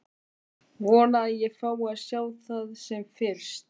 Vona að ég fái að sjá það sem fyrst.